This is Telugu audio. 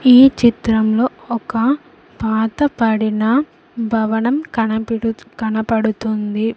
ఈ చిత్రంలో ఒక పాతబడిన భవనం కనబడుతోంది.